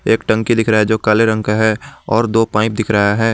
एक टंकी दिख रहा है जो काले रंग का है और दो पाइप दिख रहा है।